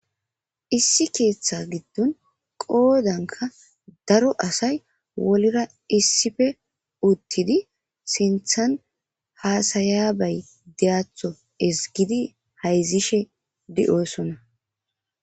issi keeththa giddon qoodanka daro asay wolira issife uttidi sinthan haasayabay deatho esgidi hayzishe de7oosona